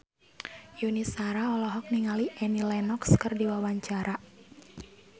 Yuni Shara olohok ningali Annie Lenox keur diwawancara